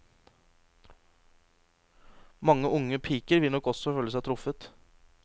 Mange unge piker vil nok også føle seg truffet.